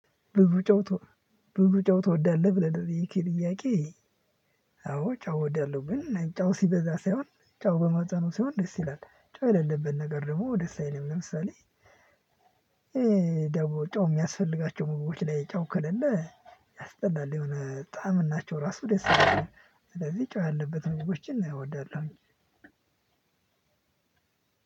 ብዙ ጨው ቶ ብዙ ጨው ትወዳለሁ ብለህ ለጠየከኝ ጥያቄ አዎ ጨው እወዳለሁ ግን ጨው ሲበዛ ሳይሆን ጨው በመጠኑ ሲሆን ደስ ይላል። ጨው የሌለበት ነገር ደግሞ ደስ አይልም ለምሳሌ ጨው የሚያስፈልጋቸው ምግቦች ላይ ጨው ከሌለ ያስጠላል የሆነ ጣዕምናቸው እራሱ ደስ አይላኝም። ስለዚህ ጨው ያለበት ምግቦችን እወዳለሁኝ።